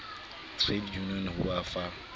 trade unions ho ba fa